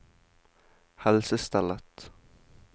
helsestellet